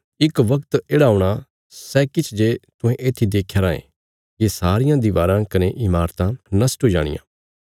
इक वगत येढ़ा औणा सै किछ जे तुहें येत्थी देख्या रायें ये सारियां दीवाराँ कने इमारतां नष्ट हुई जाणियां